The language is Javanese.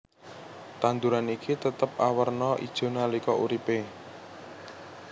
Tanduran iki tetep awerna ijo nalika uripe